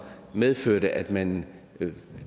medførte at man